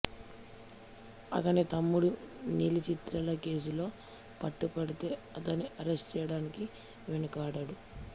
అతని తమ్ముడు నీలి చిత్రాల కేసులో పట్టు పడితే అతన్ని అరెస్టు చేయడానికి వెనుకాడడు